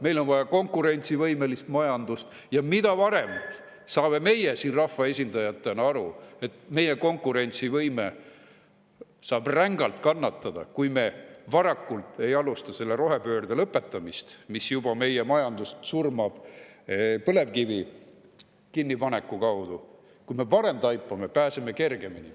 Meile on vaja konkurentsivõimelist majandust ja mida varem saame meie siin rahvaesindajatena aru, et meie konkurentsivõime saab rängalt kannatada, kui me varakult ei alusta selle rohepöörde lõpetamist, mis juba meie majandust surmab põlevkivi kinnipaneku tõttu, seda kergemini pääseme.